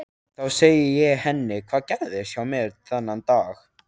Þá segi ég henni hvað gerðist hjá mér þennan dag.